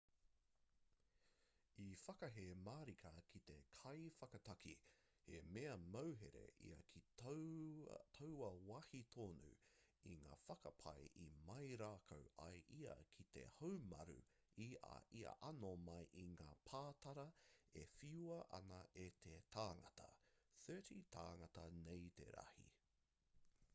i whakahē marika te kaiwhakataki he mea mauhere ia ki taua wāhi tonu i ngā whakapae i mau rākau ai ia ki te haumaru i a ia anō mai i ngā pātara e whiua ana e te tāngata 30 tāngata nei te rahi